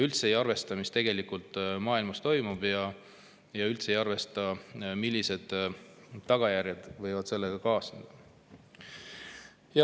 Me ei arvesta üldse, mis maailmas toimub, ega seda, millised tagajärjed võivad sellega kaasneda.